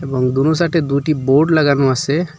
এবং দোনো সাইডে দুইটি বোর্ড লাগানো আসে।